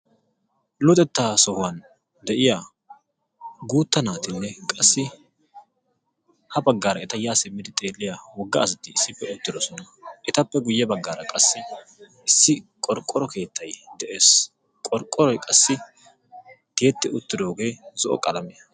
Luxetta sohuwan de'iya guutta naatinne qassi habaggaara eta yaa simidi xeeliya wogga asati issippe uttidosona. Etappe guye baggaara qassi issi qorqqoro keettay de'ees. Qorqqoroy qassi tiyetti uttidoogee zo"o qalaammiyana.